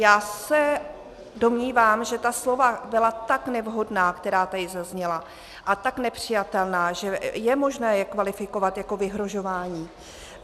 Já se domnívám, že ta slova byla tak nevhodná, která tady zazněla, a tak nepřijatelná, že je možné je kvalifikovat jako vyhrožování.